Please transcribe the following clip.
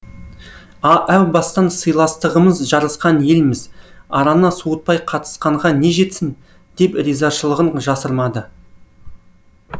әу бастан сыйластығымыз жарасқан елміз араны суытпай қатысқанға не жетсін деп ризашылығын жасырмады